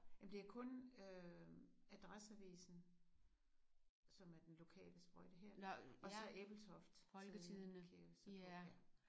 Jamen det kun øh adresseavisen som er den lokale sprøjte her og så Ebeltoft tidene kigger vi så på ja